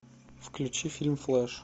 включи фильм флэш